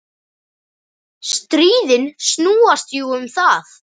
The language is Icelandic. Stríðin snúast jú um það.